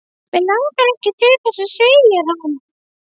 Mig langar ekki til þess segir hann.